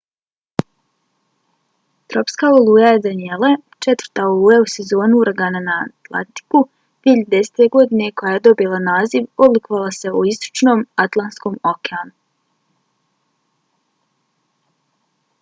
tropska oluja danielle četvrta oluja u sezoni uragana na atlantiku 2010. godine koja je dobila naziv oblikovala se u istočnom atlantskom okeanu